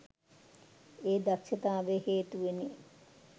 ඒ දක්ෂතාවය හේතුවෙනි.